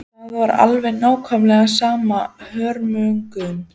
Það var alveg nákvæmlega sama hörmungin.